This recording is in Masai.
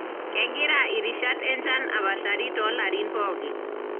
kengira irishat enchan apashari tolarin pooki.